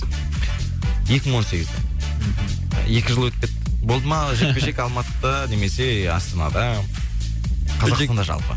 екі мың он сегізде екі жыл өтіп кетті болды ма жекпе жек алматыда немесе астанада қазақстанда жалпы